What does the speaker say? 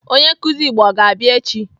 Onye nkụzi Igbo ọ ga-abịa echi?